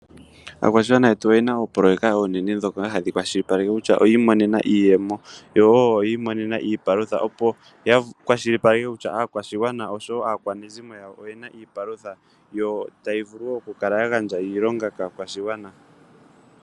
Aakwashigwana yetu oyena oopoloyeka oonene dhoka tadhi kwashilipe kutya oyiimonena iiyemo yo wo oyiimonena iipalutha opo ya kwashilipaleka kutya aakwashigwana naakwanezimo oyena iipalutha yo tayi vulu wo oku kala ya gandja iilonga kaakwashigwana.